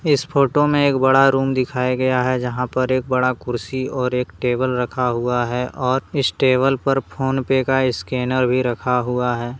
इस फोटो में एक बड़ा रूम दिखाया गया है। जहां पर एक बड़ा कुर्सी और एक टेबल रखा हुआ है और इस टेबल पर फोन पे का स्कैनर भी रखा हुआ है।